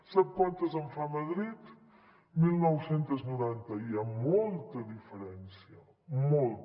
sap quantes en fa madrid dinou noranta hi ha molta diferència molta